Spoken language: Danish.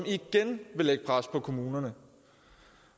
igen vil lægge pres på kommunerne